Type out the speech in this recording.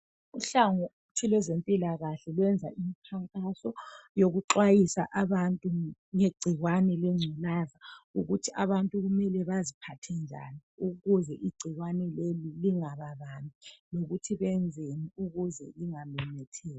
Uhlangothi lwezempilakahle luyenza imkhankaso yokuxhayisa abantu ngegcikwane lenculaza ukuthi abantu kumele baziphathe njan ukuze igcikwane leli lingababambi lokuthi benzeni ukuze lingamemetheki.